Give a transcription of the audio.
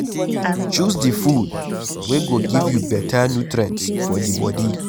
Choose di food wey go give you better nutrients for di bodi